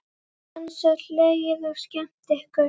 Dansað, hlegið og skemmt ykkur.